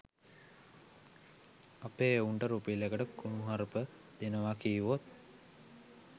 අපේ එවුන්ට රුපියලකට කුණුහරුප දෙනවා කීවොත්